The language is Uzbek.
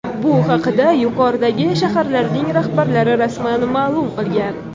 Bu haqda yuqoridagi shaharlarning rahbarlari rasman ma’lum qilgan .